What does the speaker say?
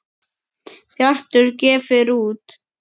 Bjartur gefur út.